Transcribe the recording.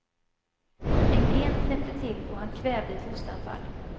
En gren knäppte till och han kvävde ett hostanfall.